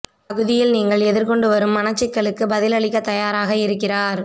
பகுதியில் நீங்கள் எதிர்கொண்டு வரும் மனச் சிக்கலுக்கு பதில் அளிக்கத் தயாராக இருக்கிறார்